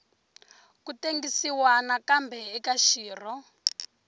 ku tengisiwa nakambe eka xirho